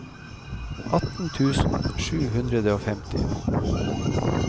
atten tusen sju hundre og femti